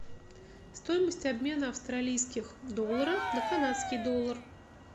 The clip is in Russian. стоимость обмена австралийских долларов на канадский доллар